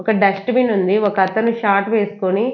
ఒక dust bin ఉంది ఒక అతను షార్ట్ వేసుకుని--